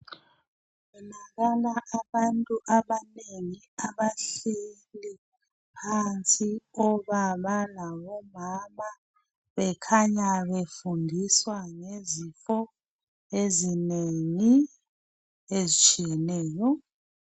Labona abantu abanengi abahleli phansi, obaba labomama bekhanya befundiswa ngezifo ezinengi ezitshiyeneyo.